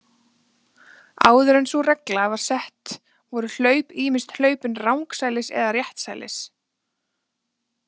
Áður en sú regla var sett voru hlaup ýmist hlaupin rangsælis eða réttsælis.